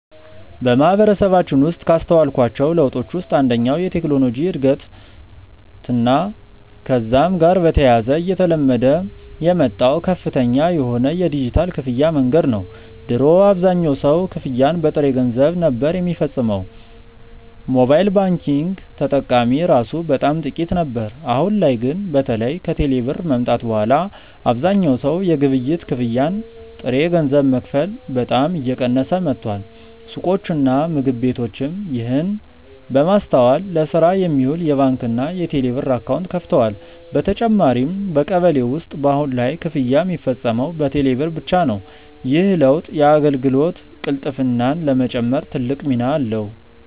በማህበረሰባችን ውስጥ ካስተዋልኳቸው ለውጦች ውስጥ አንደኛው የቴክኖሎጂ እድገትና ከዛም ጋር በተያያዘ እየተለመደ የመጣው ከፍተኛ የሆነ የዲጂታል ክፍያ መንገድ ነው። ድሮ አብዛኛው ሰው ክፍያን በጥሬ ገንዘብ ነበር ሚፈጽመው፤ ሞባይል ባንኪንግ ተጠቃሚ እራሱ በጣም ጥቂት ነበር። አሁን ላይ ግን በተለይ ከቴሌ ብር መምጣት በኋላ አብዛኛው ሰው የግብይት ክፍያን በጥሬ ገንዘብ መክፈል በጣም እየቀነሰ መጥቷል። ሱቆችና ምግብ ቤቶችም ይህንን በማስተዋል ለስራ የሚውል የባንክና የቴሌብር አካውንት ከፍተዋል። በተጨማሪም በቀበሌ ውስጥ በአሁን ላይ ክፍያ ሚፈጸመው በቴሌ ብር ብቻ ነው። ይህ ለውጥ የአገልግሎት ቅልጥፍናን ለመጨመር ትልቅ ሚና አለው።